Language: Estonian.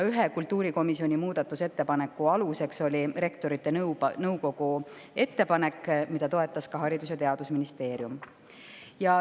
Ühe kultuurikomisjoni muudatusettepaneku aluseks oli Rektorite Nõukogu ettepanek, mida toetas ka Haridus- ja Teadusministeerium.